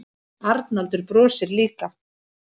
Arnaldur brosir líka.